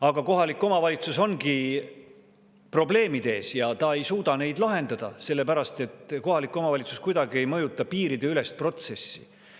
Aga kohalik omavalitsus ongi probleemide ees ja ta ei suuda neid lahendada, sellepärast et kohalik omavalitsus kuidagi ei mõjuta piiriülest protsessi.